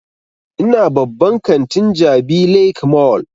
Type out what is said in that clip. Ina babban kantin jabi lake mall